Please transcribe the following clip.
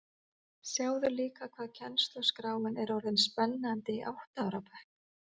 Sjáðu líka hvað kennsluskráin er orðin spennandi í átta ára bekk